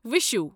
وِشُہ